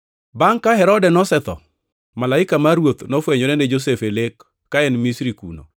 Bangʼ ka Herode nosetho, malaika mar Ruoth nofwenyore ne Josef e lek ka en Misri kuno,